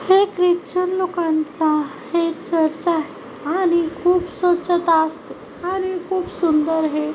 हे ख्रिचन लोकांचा हे चर्च आहे आणि खूप स्वछता असते आणि खूप सुंदर हे--